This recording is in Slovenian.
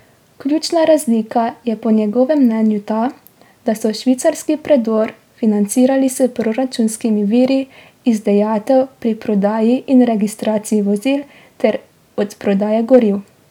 Ključna razlika je po njegovem mnenju ta, da so švicarski predor financirali s proračunskimi viri iz dajatev pri prodaji in registraciji vozil ter od prodaje goriv.